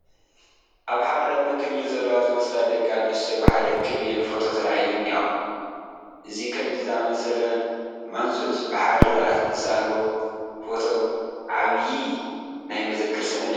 ኣብ ሓደ ዕድመ ክልል ዘለዋ ዝመስላ ደቂ ኣንስትዮ ብሓደ እክብ ኢለን ፎቶ ተላዒለን እኔዋ፡፡ እዚ ከምዚ ዝኣምሰለ ማንዙት ብሓደ ዝሰኣልዎ ፎቶ ዓይብዪ ናይ መዘክር ሰነድ እዩ፡፡